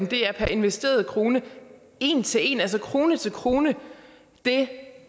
det per investeret krone en til en altså krone til krone det